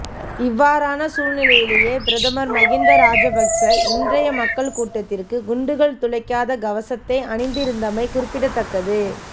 இவ்வாறான சூழ்நிலையிலேயே பிரதமர் மஹிந்த ராஜபக்ச இன்றைய மக்கள் கூட்டத்திற்கு குண்டுகள் துளைக்காத கவசத்தை அணிந்திருந்தமை குறிப்பிடத்தக்கது